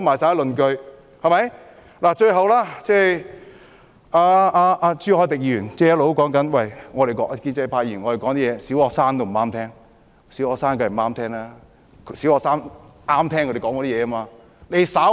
最後，朱凱廸議員指建制派議員的說話，連小學生也不喜歡聽，因為小學生只喜歡聽他們的說話。